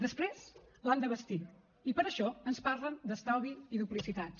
després l’han de vestir i per això ens parlen d’estalvi i duplicitats